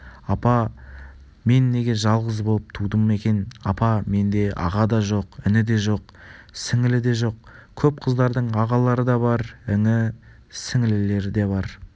мен неге жалғыз болып тудым екен апа менде аға да жоқ іні де жоқ сіңлі де жоқ көп қыздардың ағалары да бар іні-сіңлілері де бар